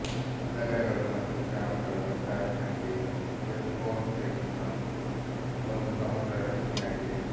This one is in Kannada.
ನಗರಗಳು ಮತ್ತು ಗ್ರಾಮಗಳ ಒಟ್ಟಾರೆ ಸಂಖ್ಯೆಯು ವಿಸ್ಕೊನ್ ಸಿನ್ ನ ಒಂದು ಸಮಗ್ರ ರಚನೆಯಾಗಿದೆ